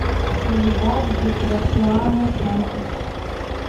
соледад де грасиано санчес